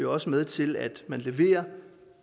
også med til at man leverer